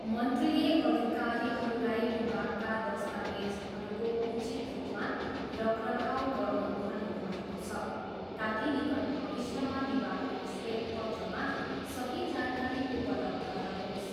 मन्त्रीले अधिकारीहरूलाई विभागका दस्तावेजहरूको उचित रूपमा रखरखाउ गर्नु भन्नुभएको छ ताकि निकट भविष्यमा विभागको श्वेत पत्रमा सही जानकारी उपलब्ध रहोस्।